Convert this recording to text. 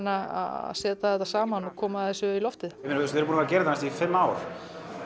að setja þetta saman og koma þessu í loftið við erum búnir að gera þetta í fimm ár